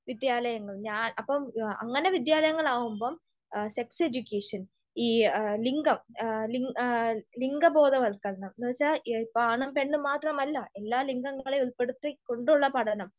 വിദ്യാലയങ്ങൾ. ഞാ അപ്പോം അങ്ങിനെ വിദ്യാലയങ്ങൾ ആവുമ്പൊൾ സെക്സ് എഡ്യൂക്കേഷൻ ഈ ലിംഗം ലിംഗബോധവൽക്കരണം എന്ന് വെച്ചാൽ ഇപ്പോ ആണും പെണ്ണും മാത്രമല്ല, എല്ലാ ലിംഗങ്ങളേം ഉൾപ്പെടുത്തിക്കൊണ്ടുള്ള പഠനം